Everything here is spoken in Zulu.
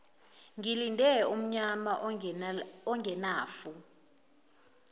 ngilinde umnyama ongenafu